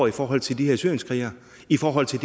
i forhold til de her syrienskrigerne i forhold til